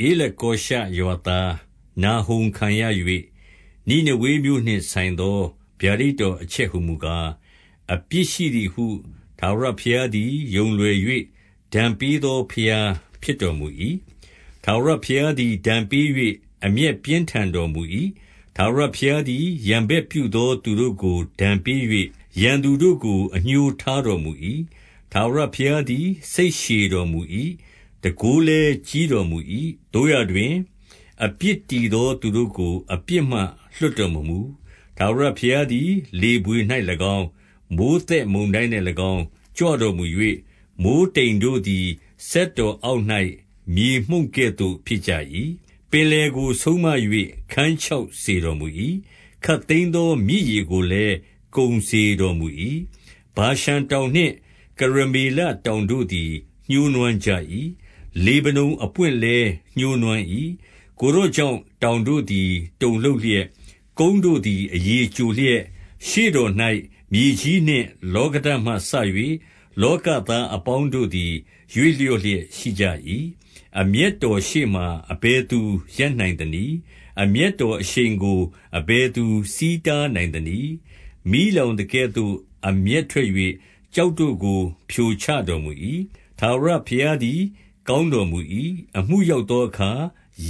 ဧလကောရှရွာသား နာဟုံခံရ၍၊ နိနေဝေမြို့နှင့် ဆိုင်သော ဗျာဒိတ်တော်အချက်ဟူမူကား၊ အပြစ်ရှိသည်ဟု ထာဝရဘုရားသည် ယုံလွယ်၍ ဒဏ်ပေးသော ဘုရားဖြစ်တော်မူ၏။ ထာဝရဘုရားသည် ဒဏ်ပေး၍ အမျက်ပြင်းထန်တော်မူ၏။ ထာဝရဘုရား သည် ရန်ဘက်ပြုသောသူတို့ကို ဒဏ်ပေး၍၊ ရန်သူတို့ကို အငြိုးထားတော်မူ၏။ ထာဝရဘုရားသည် စိတ်ရှည်တော်မူ၏။ တန်ခိုး လည်း ကြီးတော်မူ၏။ သို့ရာတွင်၊ အပြစ်တည်သော သူ တို့ကို အပြစ်မှ လွှတ်တော်မမူ။ ထာဝရဘုရားသည် လေ ဘွေ၌၎င်း၊ မိုဃ်းသက်မုန်တိုင်း၌၎င်း ကြွတော်မူ၍၊ မိုဃ်း တိမ်တို့သည် စက်တော်အောက်၌ မြေမှုန့်ကဲ့သို့ ဖြစ်ကြ၏။ ပင်လယ်ကို ဆုံးမ၍ ခန်းခြောက်စေတော်မူ၏။ ခပ်သိမ်းသော မြစ်ရေကိုလည်း ကုန်စေတော်မူ၏။ ဗာရှန် တောင်နှင့် ကရမေလတောင်တို့သည် ညှိုးနွမ်းကြ၏။ လေဗနုန်အပွင့်လည်း ညှိုးနွမ်း၏။ ကိုယ်တော်ကြောင့် တောင်တို့သည် တုန်လှုပ် လျက်၊ ကုန်းတို့သည် အရည်ကျိုလျက်၊ ရှေ့တော်၌ မြေကြီး နှင့် လောကဓာတ်မှစ၍ လောကသားအပေါင်းတို့သည် ရွေ့လျက်ရှိကြ၏။ အမျက်တော်ရှေ့မှာ အဘယ်သူရပ်နိုင်သနည်း။ အမျက်တော်အရှိန်ကို အဘယ်သူ ဆီးတားနိုင်သနည်း။ မီးလောင်သကဲ့သို့ အမျက်ထွက်၍၊ ကျောက်တို့ကို ဖြိုချ တော်မူ၏။ ထာဝရဘုရားသည် ကောင်းတော်မူ၏။ အမှု ရောက်သောအခါ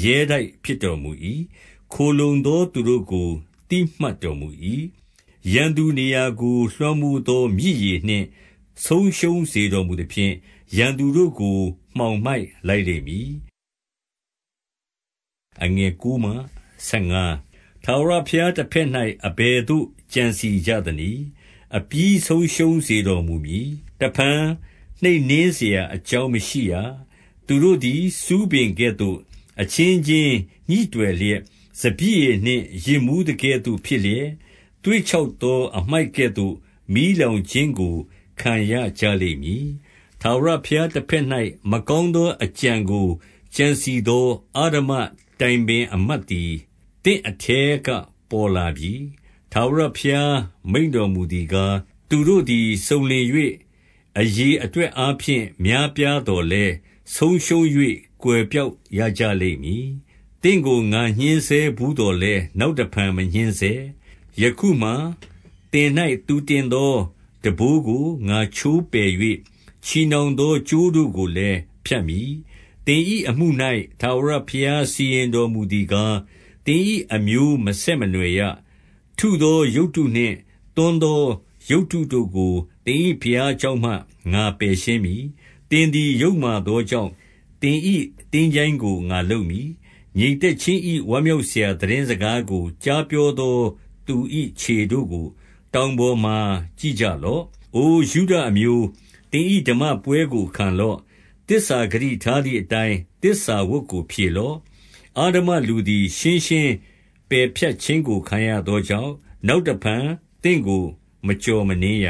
ရဲတိုက်ဖြစ်တော်မူ၏။ ခိုလှုံသောသူတို့ ကို သိမှတ်တော်မူ၏။ ရန်သူနေရာကို လွှမ်းမိုးသော မြစ်ရေနှင့် ဆုံးရှုံး စေတော်မူသဖြင့်၊ ရန်သူတို့ကို မှောင်မိုက်လိုက်လိမ့်မည်။ ထာဝရဘုရားတဘက်၌ အဘယ်သို့ ကြံစည်ကြ သနည်း။ အပြီးဆုံးရှုံးစေတော်မူမည်။ တဖန် နှိပ်နင်းစရာ အကြောင်းမရှိရ။ သူတို့သည် ဆူးပင်ကဲ့သို့ အချင်းချင်း ညိတွယ် လျက်၊ စပျစ်ရည်နှင့် ယစ်မူးသကဲ့သို့ဖြစ်လျက်၊ သွေ့ ခြောက်သောအမှိုက်ကဲ့သို့ မီးလောင်ခြင်းကို ခံရကြလိမ့် မည်။ ထာဝရဘုရားတဘက်၌ မကောင်းသော အကြံ ကို ကြံစည်သောအဓမ္မတိုင်ပင်အမတ်သည် သင့်အထဲက ပေါ်လာပြီ။ ထာဝရဘုရား မိန့်တော်မူသည်ကား၊ သူတို့သည် စုံလင်၍ အရေအတွက်အားဖြင့် များပြားသော်လည်း၊ ဆုံးရှုံး၍ ကွယ်ပျောက်ရကြလိမ့်မည်။ သင့်ကို ငါညှဉ်းဆဲ ဘူးသော်လည်း နောက်တဖန် မညှဉ်းဆဲ။ ယခုမှာ သင်၌ သူတင်သော ထမ်းဘိုးကို ငါချိုး ပယ်၍၊ ချည်နှောင်သော ကြိုးတို့ကိုလည်း ဖြတ်မည်။ သင်၏အမှု၌ ထာဝရဘုရားစီရင်တော်မူသည် ကား၊ သင်၏အမျိုးမဆက်မနွှယ်ရ။ ထုသော ရုပ်တုနှင့် သွန်းသော ရုပ်တုတို့ကို သင်၏ဘုရားကျောင်းမှ ငါပယ် ရှင်းမည်။ သင်သည် ယုတ်မာသောကြောင့် သင်၏ သင်္ချိုင်းကို ငါလုပ်မည်။ ငြိမ်သက်ခြင်း၏ ဝမ်းမြောက်စရာသိတင်း စကားကို ကြားပြောသော သူ၏ခြေတို့ကို တောင်ပေါ်မှာ ကြည့်ကြလော့။ အိုယုဒအမျိုး၊ သင်၏ဓမ္မပွဲကို ခံလော့။ သစ္စာဂတိထားသည်အတိုင်း သစ္စာဝတ်ကို ဖြေလော့။ အဓမ္မလူသည် ရှင်းရှင်းပယ်ဖြတ်ခြင်းကို ခံရသောကြောင့် နောက်တဖန်သင့်ကို မကျော်မနင်းရ